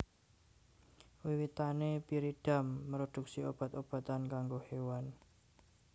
Wiwitané Pyridam mroduksi obat obatan kanggo kewan